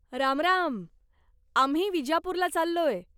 रामराम! आम्ही विजापूरला चाललोय.